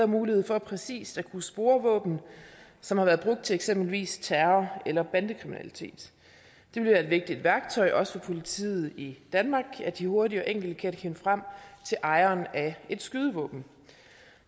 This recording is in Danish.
mulighed for præcist at kunne spore våben som har været brugt til eksempelvis terror eller bandekriminalitet det vil være et vigtigt værktøj også for politiet i danmark at de hurtigt og enkelt kan finde frem til ejeren af et skydevåben